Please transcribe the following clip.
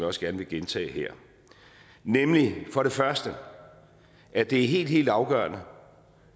også gerne vil gentage her for det første er det helt helt afgørende